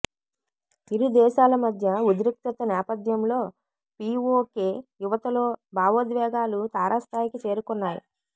ఇరుదేశాల మధ్య ఉద్రిక్తత నేపథ్యంలో పీవోకే యువతలో భావోద్వేగాలు తారాస్థాయికి చేరుకున్నాయి